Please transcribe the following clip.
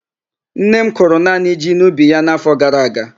Nne m kụrụ naanị ji n'ubi ya n' áfọ gara aga.